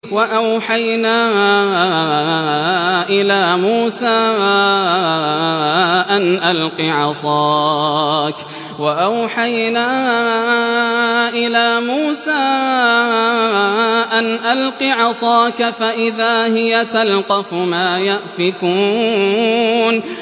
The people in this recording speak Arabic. ۞ وَأَوْحَيْنَا إِلَىٰ مُوسَىٰ أَنْ أَلْقِ عَصَاكَ ۖ فَإِذَا هِيَ تَلْقَفُ مَا يَأْفِكُونَ